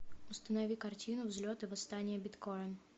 установи картину взлет и восстание биткоин